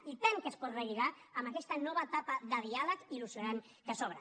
i tant que es pot relligar amb aquesta nova etapa de diàleg il·lusionant que s’obre